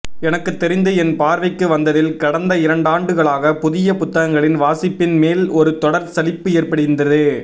எனக்குத் தெரிந்து என் பார்வைக்கு வந்ததில் கடந்த இரண்டாண்டுகளாக புதிய புத்தகங்களில் வாசிப்பின் மேல் ஒரு தொடர் சலிப்பு ஏற்படிருந்தது